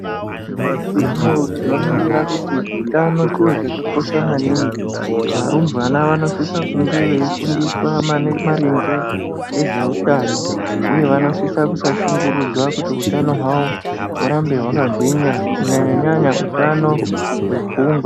Nyamashi unowu tinoningira kuti utano chiro chakakosha maningi. Varumbwana vanosisa kunge veifundiswa mani maringe nezveutano, uye vanosisa kusashungurudzwa kuti utano hwavo, hurambe hwakagwinya, kunyanya-nyanya utano hwepfungwa.